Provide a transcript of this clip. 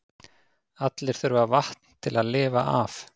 Allir þurfa vatn til að lifa af.